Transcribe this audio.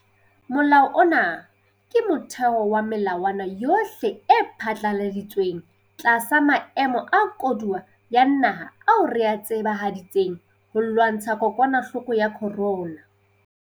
Molao ona ke motheo wa melawana yohle e phatlaladitsweng tlasa maemo a koduwa ya naha ao re a tsebahaditseng ho lwantsha kokwanahloko ya corona.